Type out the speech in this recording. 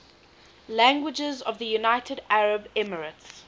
languages of the united arab emirates